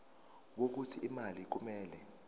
wokuthi imali kumele